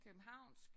Københavnsk